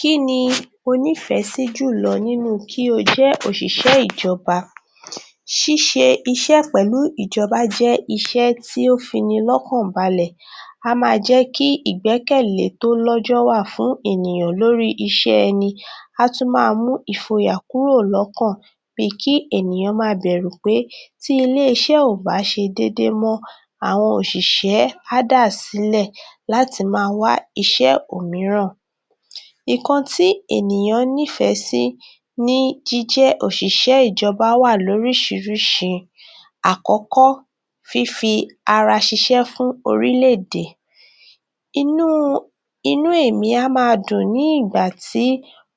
Kini o nífẹ̀ sí jù lọ nínú kí o jẹ́ oṣìṣẹ́ ìjọba? Ṣíṣe iṣẹ́ pẹ̀lú ìjọba jẹ́ iṣẹ́ tí o fi ní lọ́kàn balẹ̀. A máa jẹ́ kí ìgbẹ̀kẹ̀lé tó lójo wa fún ènìyàn lórí iṣẹ́ nì. A tún máa mú ìfọ̀yà kúrò lọ́kàn bí kí ènìyàn má bà á bẹ̀rù pé tí ilé iṣẹ́ ò bá ṣe déédé mọ́ àwọn oṣìṣẹ́ á dá silẹ̀ láti máa wá iṣẹ́ òmíràn. Nǹkan tí ènìyàn nífẹ̀ sí ni jíjẹ́ oṣìṣẹ́ ìjọba wà lórí sísirisi. Àkókò: Fífì ara ṣíṣe fún orílẹ̀-èdè. Inú ẹ̀mí á máa dùn nígbà tí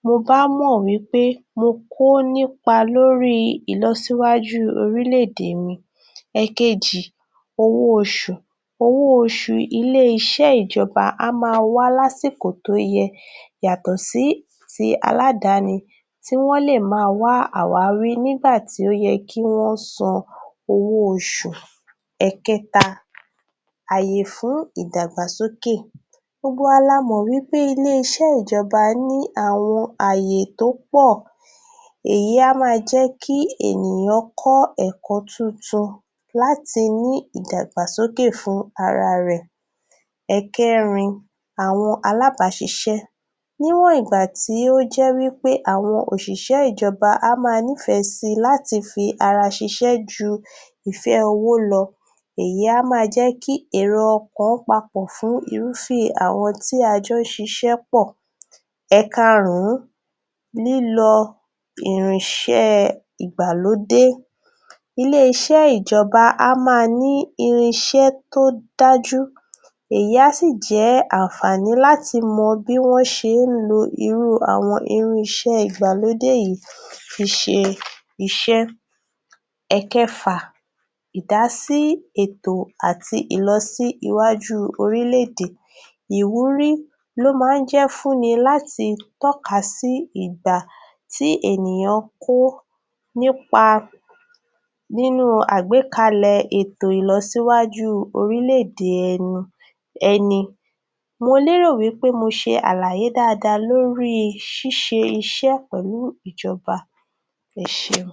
mo bá mọ̀ wipé mi ò kọ̀ nípa lórí ìlọ síwájú orílẹ̀-èdè mi. Èkejì: Owó oṣù. Owó oṣù ilé iṣẹ́ ìjọba. Á máa wá lásìkò tó yẹ yàtọ̀ sí ti aládàáni tí wọ́n lè máa wá wá nígbà tí ó yẹ kí wọ́n san owó oṣù. Èkẹta: Àyè fún ìdàgbàsókè. Gbogbo wa lámọ̀ wipé ilé iṣẹ́ ìjọba ní àwọn àyè tó pọ̀. Ẹ̀yì á máa jẹ́ kí ènìyàn kọ́ ẹ̀kọ́ tuntun láti ní ìdàgbàsókè fún ara rẹ̀. Èkẹrin: Àwọn alábàṣíṣe Ní wọ̀ nìgbà tí ó jẹ́ pé àwọn oṣìṣẹ́ ìjọba á máa nífẹ̀ sí láti fi ara ṣíṣe jù ìfẹ́ owó lọ. Ẹ̀yìn á máa jẹ́ kí èrò ọkàn pọ̀ pọ̀ fún irúfẹ́ àwọn tí a jọ ṣíṣe pọ̀. Èkarùn: lílo irinṣẹ́ ìgbàlódé. Ilé iṣẹ́ ìjọba á máa ní irinṣẹ́ tó dájú. Èyí asì jẹ́ ànfààní láti mọ bí wọ́n ṣe ń lò irú àwọn irinṣẹ́ ìgbàlódé yìí fiṣe iṣẹ́. Èkẹfà; Ìdásí ètò àti ìlọsíwájú orílẹ̀-èdè Ìwúrí ló máa ń jẹ́ fúnni láti tọ́ka sí ìdá tí ènìyàn kó nipa nínú àgbẹ̀kàlẹ̀ ètò ìlọsíwájú orílẹ̀-èdè ẹni. Mo lérò pé mo ṣe àlàyé dáadáa lórí ṣíṣe iṣẹ́ pẹ̀lú ìjọba. Ẹ ṣéun.